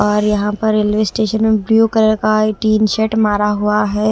और यहां पर रेलवे स्टेशन में ब्लू कलर का टिन शेड मारा हुआ है।